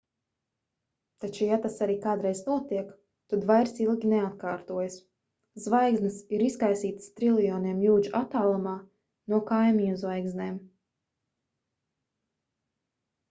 taču ja tas arī kādreiz notiek tad vairs ilgi neatkārtojas zvaigznes ir izkaisītas triljoniem jūdžu attālumā no kaimiņu zvaigznēm